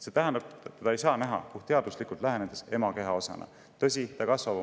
See tähendab, et puhtteaduslikult lähenedes ei saa teda näha ema keha osana.